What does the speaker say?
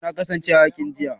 Eh na kasance a yakin jiya